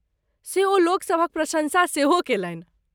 से ओ लोकसभक प्रशंसा सेहो केलनि।